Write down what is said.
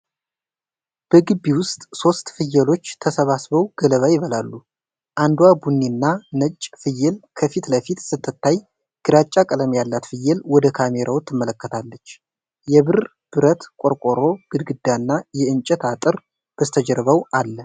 በግቢ ውስጥ ሦስት ፍየሎች ተሰብስበው ገለባ ይበላሉ። አንዷ ቡኒና ነጭ ፍየል ከፊት ለፊት ስትታይ፣ ግራጫ ቀለም ያላት ፍየል ወደ ካሜራው ትመለከታለች። የብር ብረት ቆርቆሮ ግድግዳ እና የእንጨት አጥር በስተጀርባው አለ።